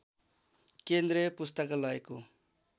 केन्द्रीय पुस्तकालयको